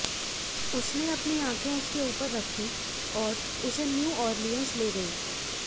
उसने अपनी आँखें उसके ऊपर रखी और उसे न्यू ऑरलियन्स ले गई